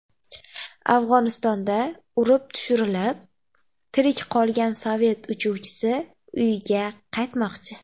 Afg‘onistonda urib tushirilib, tirik qolgan sovet uchuvchisi uyiga qaytmoqchi.